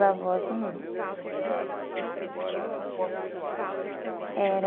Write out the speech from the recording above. avós não. Uhum. Isso que você falou, Altino é tudo da parte do seu pai? Era